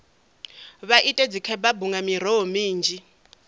vha ite dzikhebabu nga miroho minzhi